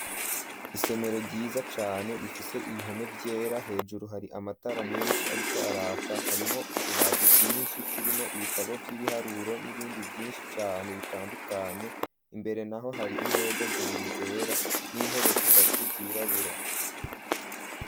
Isomero ryiza cane rifise ibihome vyera hejuru hari amatara menshi ariko araka, harimwo utubati twinshi turimwo ibitabo vy'ibiharuro n'ibindi vyinshi cane bitandukanye, imbere naho hari imeza zibiri zera n'intebe zitatu zirabura.